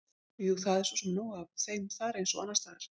Jú, það var svo sem nóg af þeim þar eins og annars staðar.